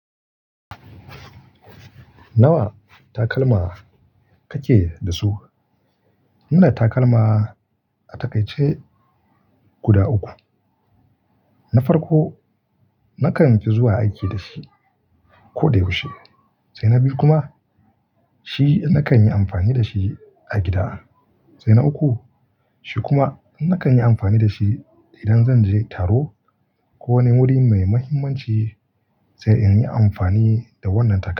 Nawa takalma kake da su? Ina da takalma a taƙaice guda uku. Na farko nakan fi zuwa aiki da shi ko dai yaushe, sai na biyu kuma shi nakan yi amfani da shi a gida, sai na uku shi kuma nakan yi amfani da shi idan zan je taro ko wani wuri mai muhimmanci sai in yi amfani da wannan takalmi.